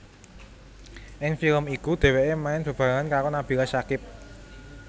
Ing film iku dheweke main bebarengan karo Nabila Syakib